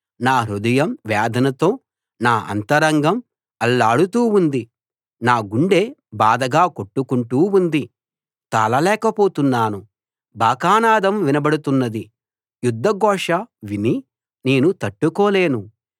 నా హృదయం నా హృదయం వేదనతో నా అంతరంగం అల్లాడుతూ ఉంది నా గుండె బాధగా కొట్టుకుంటూ ఉంది తాళలేకపోతున్నాను బాకానాదం వినబడుతున్నది యుద్ధ ఘోష విని నేను తట్టుకోలేను